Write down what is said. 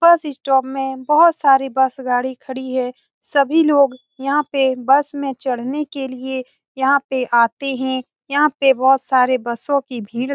बस स्टॉप में बहुत सारी बस गाड़ी खड़ी हैं सभी लोग यहाँ पे बस में चढ़ने के लिए यहाँ पे आते हैं यहाँ पे बहुत सारे बसों की भीड़ --